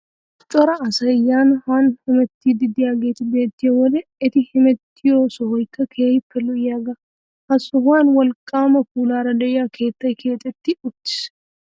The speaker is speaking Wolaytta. Cora asay yaanne haanne hamettiiddi de'iyagee beettiyo wode eti hemettiyo sohaykka keehippe lo"iyagaa. Ha sohan wolqqaama puulaara de'iya keettay keexetti uttiis.